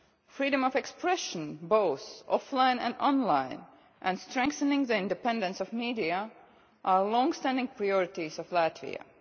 Freedom of expression, both offline and online, and strengthening the independence of the media are long standing priorities of Latvia.